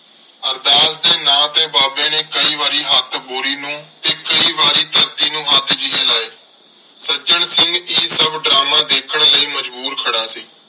ਅਰਦਾਸ ਦੇ ਨਾਂ ਤੇ ਬਾਬੇ ਨੇ ਕਈ ਵਾਰੀ ਹੱਥ ਬੋਰੀ ਨੂੰ ਤੇ ਕਈ ਵਾਰੀ ਧਰਤੀ ਨੂੰ ਹੱਥ ਜਿਹੇ ਲਾਏ। ਸੱਜਣ ਸਿੰਘ ਇਹ ਸਭ ਡਰਾਮਾ ਦੇਖਣ ਲਈ ਮਜਬੂਰ ਖੜ੍ਹਾ ਸੀ।